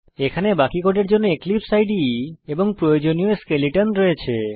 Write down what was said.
এখানে বাকি কোডের জন্য এক্লিপসে ইদে এবং প্রয়োজনীয় স্কেলেটন রয়েছে